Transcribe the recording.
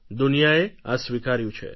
દુનિયાએ આ સ્વીકાર્યું છે